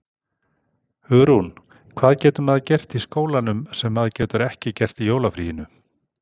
Hugrún: Hvað getur maður gert í skólanum sem maður getur ekki gert í jólafríinu?